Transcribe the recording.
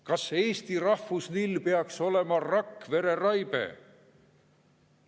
Kas Eesti rahvuslill peaks olema Rakvere raibe?